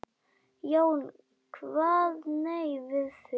Jón kvað nei við því.